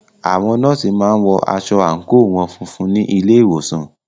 Àwọn nọ́ọ̀sì má ń wọ aṣọ àńkò wọn funfun ní ilé ìwòsàn